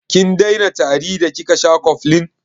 Kin daina tari da kika sha cofflin?